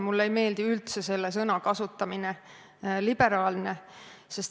Mulle ei meeldi üldse selle sõna kasutamine – "liberaalne".